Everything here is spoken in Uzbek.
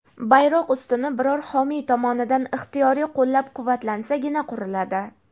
bayroq ustuni biror homiy tomonidan ixtiyoriy qo‘llab-quvvatlansagina quriladi.